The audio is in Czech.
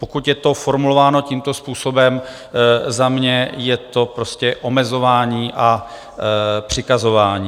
Pokud je to formulováno tímto způsobem, za mě je to prostě omezování a přikazování.